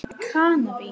Aðra ferð til Kanarí?